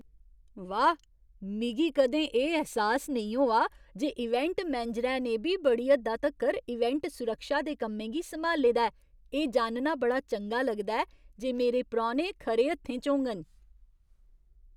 वाह्, मिगी कदें एह् ऐह्सास नेईं होआ जे इवेंट मैनेजरै ने बी बड़ी हद्दा तक्कर इवेंट सुरक्षा दे कम्में गी सम्हाले दा ऐ! एह् जानना बड़ा चंगा लगदा ऐ जे मेरे परौह्ने खरे हत्थें च होङन।